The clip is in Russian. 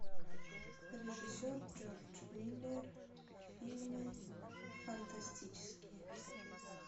режиссер джордж миллер фильмы фантастические